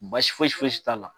Basi fosi fosi t'a la.